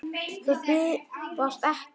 Þau bifast ekki.